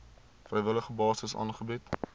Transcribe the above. vrywillige basis aangebied